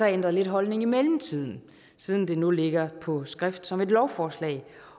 ændret lidt holdning i mellemtiden siden det nu ligger på skrift som et lovforslag